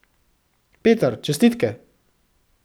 Peter, čestitke.